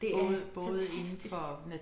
Det er fantastisk